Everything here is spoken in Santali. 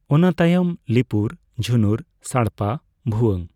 ᱱᱟᱹᱛᱟᱭᱚᱢ ᱞᱤᱯᱩᱨ, ᱡᱷᱩᱱᱩᱨ, ᱥᱟᱲᱯᱟ, ᱵᱷᱩᱭᱟᱹᱝ